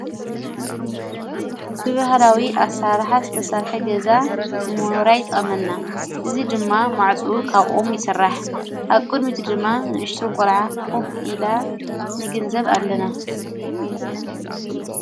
ብብሃላዊ ኣሠርሕ ዝተሣርሐ ገዛ ንሞኑራይ ጠመና እዙይ ድማ ማዕጽኡ ኻብኦም ይሠራሕ ኣቁድ ሚቲ ድማ ንእሽቶንቈልዓ ኲፍ ኢላ ንግንዘብ ኣለና::